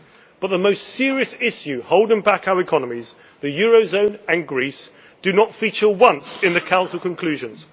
But the most serious issue holding back our economies the eurozone and Greece does not feature once in the Council conclusions.